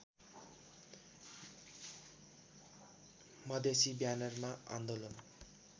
मधेसी ब्यानरमा आन्दोलन